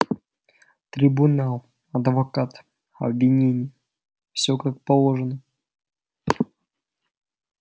трибунал адвокат обвинение всё как положено